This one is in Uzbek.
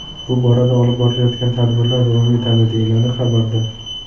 Bu borada olib borilayotgan tadbirlar davom etadi”, deyiladi xabarda.